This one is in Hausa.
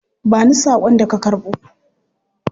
Ba ni sakon da ka karbo.